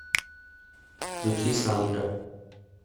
включи сандра